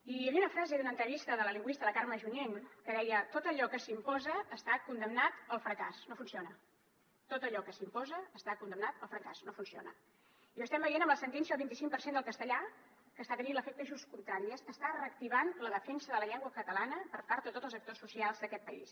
i hi havia una frase d’una entrevista de la lingüista la carme junyent que deia tot allò que s’imposa està condemnat al fracàs no funciona tot allò que s’imposa està condemnat al fracàs no funciona i ho estem veient amb la sentència del vint i cinc per cent del castellà que està tenint l’efecte just contrari està reactivant la defensa de la llengua catalana per part de tots els actors socials d’aquest país